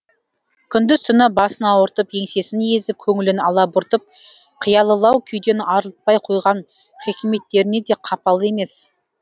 күндіз түні басын ауыртып еңсесін езіп көңілін алабұртып қиялылау күйден арылтпай қойған хикметтеріне де қапалы емес